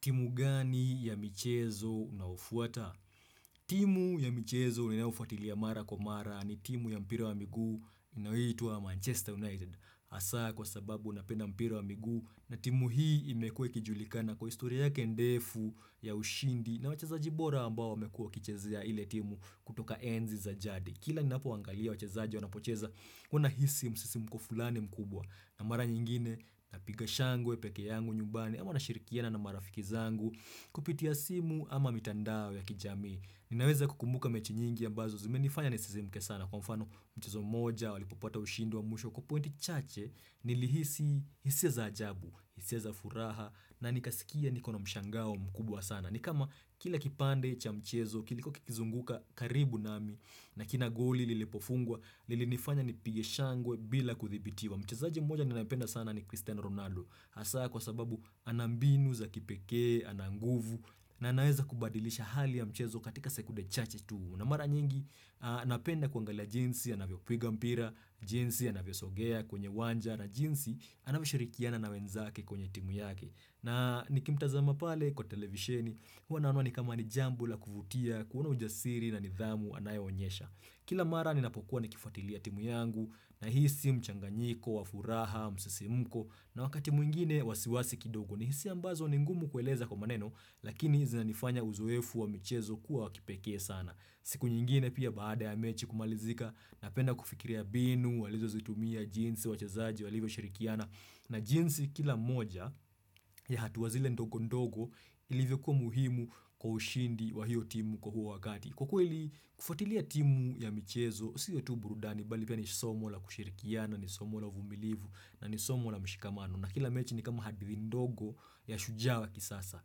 Timu gani ya michezo unao fuata? Timu ya michezo ninaufuatilia mara kwa mara ni timu ya mpira wa miguu inayoitwa Manchester United. Asaa kwa sababu unapenda mpira wa miguu na timu hii imekuwa ikijulikana kwa historia yake ndefu ya ushindi na wachezaji bora ambao wamekua kichezea ile timu kutoka enzi za jadii. Kila ninaapo angalia wachazaji wanapocheza, huwa na hisi msisi muko fulani mkubwa na mara nyingine napiga shangwe peke yangu nyumbani ama na shirikiana na marafiki zangu, kupitia simu ama mitandao ya kijamii. Ninaweza kukumuka mechi nyingi ambazo zime nifanya nisizimuke sana kwa mfano mchezo moja walipopata ushindi wa mwisho kwa pointi chache nilihisi hisia za ajabu, hisia za furaha na nikasikia nikona mshangao mkubwa sana. Nikama kila kipande cha mchezo kilikuwa kikizunguka karibu nami na kila goli lilipo fungwa, lilifanya nipige shangwe bila kudhibitiwa. Mchezaji moja ninaipenda sana ni Cristiano Ronaldo. Hasa kwa sababu ana mbinu za kipeke, ana nguvu na anaeza kubadilisha hali ya mchezo katika sekude chache tu. Na mara nyingi napenda kuangalia jinsi, anavyo piga mpira, jinsi anavyo sogea kwenye wanja na jinsi anavyo shirikiana na wenzake kwenye timu yake. Na nikimtazama pale kwa televisheni, huwa naona ni kama ni jambo la kuvutia, kuona ujasiri na nidhamu anayonyesha. Kila mara ninapokuwa nikifuatilia timu yangu nahisi mchanganyiko wa furaha, msisimko na wakati mwingine wasiwasi kidogo. Ni hisia ambazo ni ngumu kueleza kwa maneno, lakini zinanifanya uzoefu wa michezo kuwa wakipeke sana. Siku nyingine pia baada ya mechi kumalizika napenda kufikiria binu, walizo zitumia jinsi, wachezaji, walivyo shirikiana na jinsi kila moja ya hatua zile ndogo ndogo ilivyo kuwa muhimu kwa ushindi wa hiyo timu kwa huo wakati. Kwa kweli, kufuatilia timu ya michezo, siyo tu burudani, bali pia ni somo la kushirikiana, ni somo la uvumilivu, na ni somo la mshikamano, na kila mechi ni kama hadithi ndogo ya shujaa kisasa,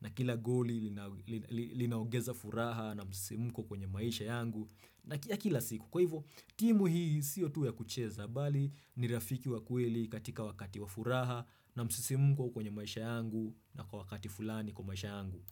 na kila goli linaongeza furaha na msisimko kwenye maisha yangu ya kila siku. Kwa hivyo, timu hii siyo tu ya kucheza, bali ni rafiki wa kweli katika wakati wa furaha na msisimko kwenye maisha yangu, na kwa wakati fulani kwa maisha yangu.